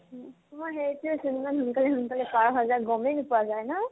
মই সেইটোয়েচোন ইমান সোনকালে সোনকালে পাৰ হৈ যায় গমে নোপোৱা যায় ন